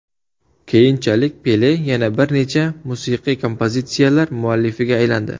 Keyinchalik Pele yana bir necha musiqiy kompozitsiyalar muallifiga aylandi.